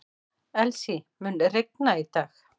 Elsie, mun rigna í dag?